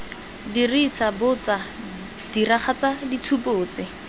dirisa botso diragatsa ditshupo tse